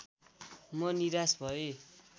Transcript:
म निराश भएँ